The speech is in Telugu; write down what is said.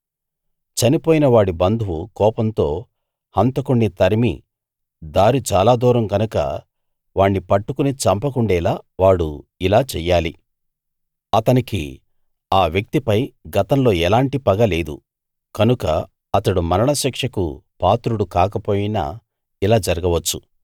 చనిపోయిన వాడి బంధువు కోపంతో హంతకుణ్ణి తరిమి దారి చాలా దూరం గనక వాణ్ణి పట్టుకుని చంపకుండేలా వాడు ఇలా చెయ్యాలి అతనికి ఆ వ్యక్తిపై గతంలో ఎలాంటి పగ లేదు కనుక అతడు మరణశిక్షకు పాత్రుడు కాక పోయినా ఇలా జరగవచ్చు